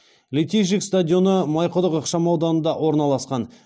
литейщик стадионы майқұдық ықшамауданында орналасқан